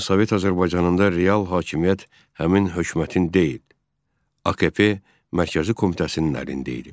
Lakin Sovet Azərbaycanında real hakimiyyət həmin hökumətin deyil, AKP Mərkəzi Komitəsinin əlində idi.